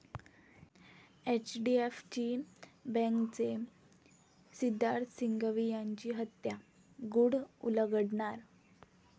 एचडीएफची बँकेचे सिद्धार्थ सिंघवी यांची हत्या, गुढ उलगडणार?